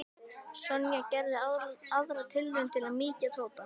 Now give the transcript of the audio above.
Sonja gerði aðra tilraun til að mýkja Tóta.